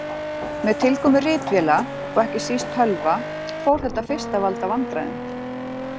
Með tilkomu ritvéla og ekki síst tölva fór þetta fyrst að valda vandræðum.